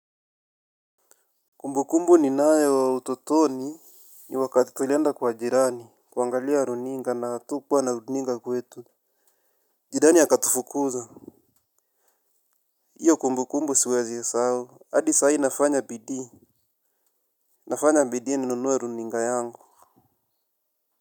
Kumbukumbu ninayo ya utotoni ni wakati tulienda kwa jirani kuangalia runinga na atukuwa na runinga kwetu. Jirani akatufukuza. Hiyo kumbukumbu siwezi isahau. Adi sahii nafanya bidii. Nafanya bidii ninunue runinga yangu.